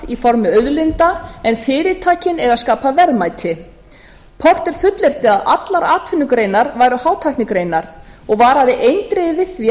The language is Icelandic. í formi auðlinda en fyrirtækin eiga að skapa verðmæti porter fullyrti að allar atvinnugreinar væru hátæknigreinar og varaði eindregið við því að